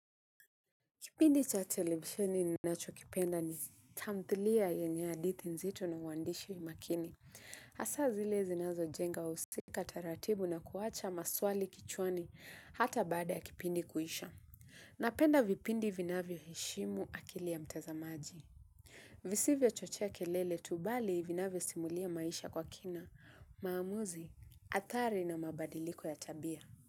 Kipindi cha televisheni ninachokipenda ni tamthilia yenye hadithi nzito na uandishi makini. Hasa zile zinazojenga husika taratibu na kuwacha maswali kichwani hata baada ya kipindi kuhisha. Napenda vipindi vinavyo heshimu akili ya mtazamaji. Visivyo chochea kelele tu bali vinavyo simulia maisha kwa kina, maamuzi, athari na mabadiliko ya tabia.